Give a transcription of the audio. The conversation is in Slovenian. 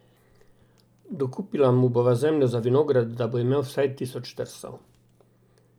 Dokupila mu bova zemljo za vinograd, da bo imel vsaj tisoč trsov.